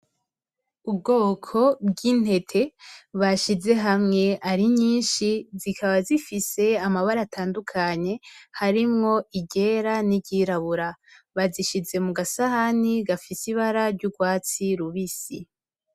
Ubgoko bv'intete bashize hamwe ari nyinshi zikaba zifise amabara atandukanye iryera niryirabura bazishize mu gasahani gafise ibara ry'ugwatsi rubisi.